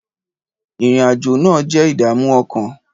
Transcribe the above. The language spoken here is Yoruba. Ìrìn-àjò náà jẹ́ ìdààmú ọkàn.